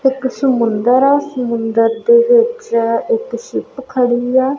ਇੱਕ ਸਮੁੰਦਰ ਆ ਸਮੁੰਦਰ ਦੇ ਵਿੱਚ ਇੱਕ ਸ਼ਿਪ ਖੜੀ ਆ।